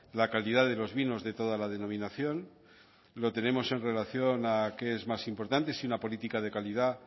la calidad de los vinos de toda la denominación lo tenemos en relación a qué es más importante si una política de calidad